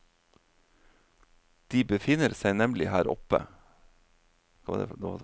De befinner seg nemlig her oppe.